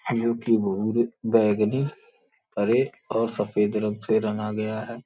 जो कि भूरे बैगनी हरे और सफेद रंग से रंगा गया है।